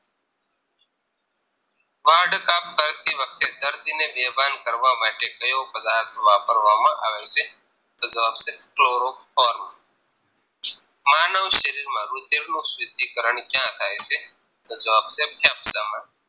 કરતી વખતે દર્દીને બેભાન કરવા માટે કયો પદાર્થ વાપરવામાં આવે છે તો જવાબ છે Chloroform માનવ શરીરમાં રુધિરનું શુદ્ધિ કર્ણ ક્યાં થાય છે તોજવાબ છે ફેફસામાં